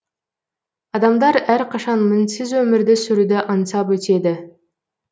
адамдар әрқашан мінсіз өмірді сүруді аңсап өтеді